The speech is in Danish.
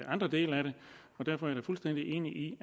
andre dele af det derfor er jeg fuldstændig enig i